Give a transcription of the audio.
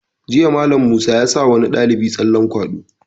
Jiya Mallam Musa ya sa wani ɗalibi tsallen kwaɗo